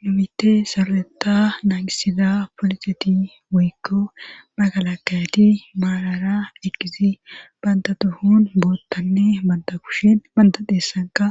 Nu bita saroeta naangisida polixeti weykko bagalakayati maalara ekizi banda tuhun boottanne banda kushin banda dheessanka